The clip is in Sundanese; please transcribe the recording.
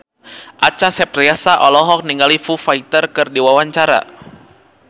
Acha Septriasa olohok ningali Foo Fighter keur diwawancara